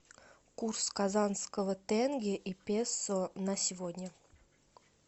курс казанского тенге и песо на сегодня